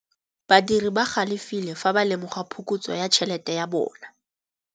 Badiri ba galefile fa ba lemoga phokotsô ya tšhelête ya bone.